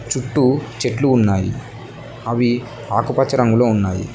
చుట్టూ చెట్లు ఉన్నాయి అవి ఆకుపచ్చ రంగులో ఉన్నాయి.